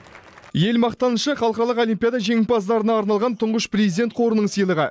ел мақтанышы халықаралық олимпиада жеңімпаздарына арналған тұңғыш президент қорының сыйлығы